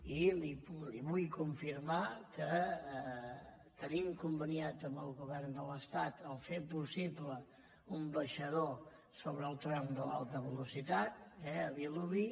i li vull con·firmar que tenim conveniat amb el govern de l’estat fer possible un baixador sobre el tram de l’alta veloci·tat eh a vilobí